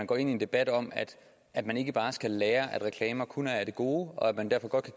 gå ind i en debat om at at man ikke bare skal lære at reklamer kun er af det gode og at man derfor godt